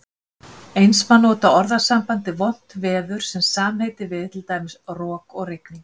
Eins má nota orðasambandið vont veður sem samheiti við, til dæmis, rok og rigning.